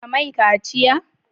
Ka mai kaciya!